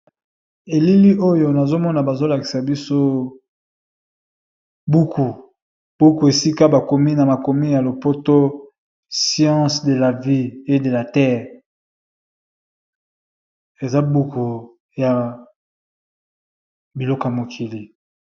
Elili oyo nazomona bazolakisa biso buku buku esika bakomi na makomi ya lopoto ssiance de la vie e de la terre eza buku ya biluka mokili.